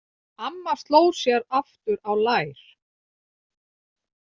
Amma sló sér aftur á lær.